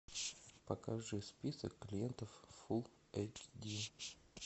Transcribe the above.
покажи список клиентов фулл эйч ди